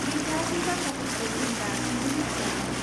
बे गासै बाथ्राफोरखौ जों दासिमबो मिथियामोन।